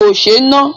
Kò sé e ná.